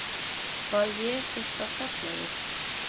Var ég eitthvað gallaður?